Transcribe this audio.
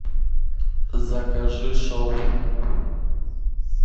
закажи шаурму